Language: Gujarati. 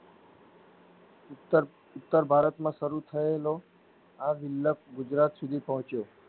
ઉત્તર ઉત્તરભારત માં સરું થયેલો આ વિલ્પ ગુજરાત સુધી પહોંચ્યો.